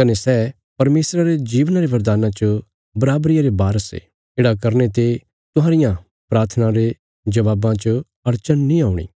कने सै परमेशरा रे जीवना रे बरदाना च बराबरिया रे वारस ये येढ़ा करने ते तुहांरियां प्राथनां रे जबाबां च अड़चन नीं औणी